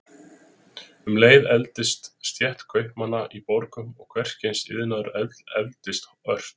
Um leið efldist stétt kaupmanna í borgum og hvers kyns iðnaður efldist ört.